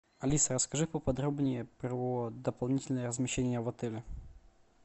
алиса расскажи поподробнее про дополнительное размещение в отеле